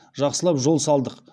жақсылап жол салдық